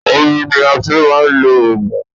Omi ni a fi ń máa ń lo òògùn.